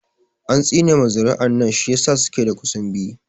An tsine ma zuri'an nan shi ya sa suke da ƙusunbi